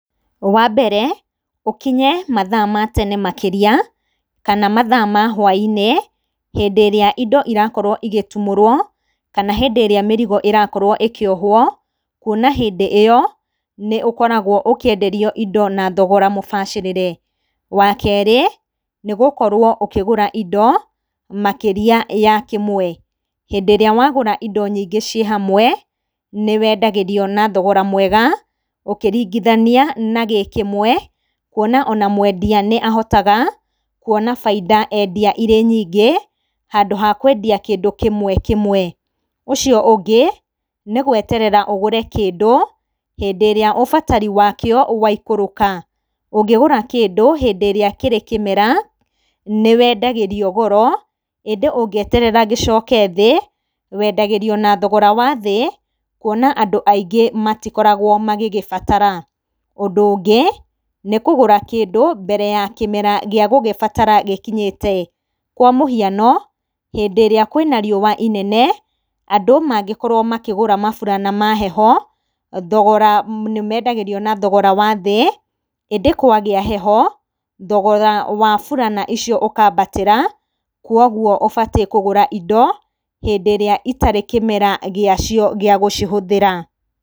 Wa mbere, ũkinye mathaa ma tene makĩria kana mathaa ma hwaĩ-inĩ, hĩndĩ ĩrĩa indo irakorwo igĩtumũrwo kana hĩndĩ ĩrĩa mĩrigo ĩrakorwo ĩkĩohwo, kwona hĩndĩ ĩyo nĩ ũkoragwo ũkĩenderio indo na thogora mũbacĩrĩre. Wa kerĩ, nĩ gũkorwo ũkĩgũra indo makĩria ya kĩmwe. Hĩndĩ ĩrĩa wa gũra indo nyingĩ ciĩ hamwe, nĩ weendagĩrio na thogora mwega ũkĩringithania na gĩ kĩmwe, kwona o na mwendia nĩ ahotaga kwona faida endia irĩ nyingĩ handũ ha kwendia kĩndũ kĩmwe kĩmwe. Ũcio ũngĩ, nĩ gweterera ũgũre kĩndũ hĩndĩ ĩrĩa ũbatari wa kĩo waikũrũka. Ũngĩgũra kĩndũ hĩndĩ ĩrĩa kĩrĩ kĩmera, nĩ weendagĩrio goro. Hĩndĩ ũngĩeterera gĩcoke thĩ, weendagĩrio na thogora wa thĩ, kwona andũ aingĩ matikoragwo magĩgĩbatara. Ũndũ ũngĩ nĩ kũgũra kĩndũ mbere ya kĩmera gĩa gũgĩbatara gĩkinyĩte. Kwa mũhiano, hĩndĩ ĩrĩa kwĩna riũa inene, andũ mangĩkorwo makĩgũra maburana ma heho, thogora nĩ meendagĩrio na thogora wa thĩ. Hĩndĩ kwagĩa heho, thogora wa burana icio ũkaambatĩra. Kwoguo ũbatiĩ kũgũra indo hĩndĩ ĩrĩa itarĩ kĩmera gĩa cio gĩa gũcihũthĩra.